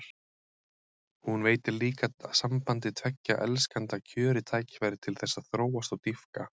Hún veitir líka sambandi tveggja elskenda kjörið tækifæri til þess að þróast og dýpka.